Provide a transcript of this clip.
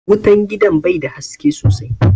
Wutan gidan bai da haske sosai